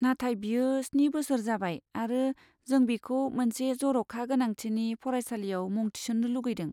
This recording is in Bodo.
नाथाय, बियो स्नि बोसोर जाबाय आरो जों बिखौ मोनसे जर'खा गोनांथिनि फरायसालियाव मुं थिसन्नो लुगैदों।